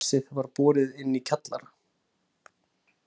Allt kvarsið var borið inn í kjallara.